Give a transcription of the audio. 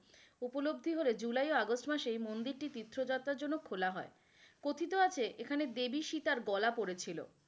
উপলব্ধি হলে জুলাই ও আগস্ট মাসে এই মন্দির টি তীর্থ যাত্রার জন্য খোলা হয়, কথিত আছে এখানে দেব সীতার গলা পড়েছিল।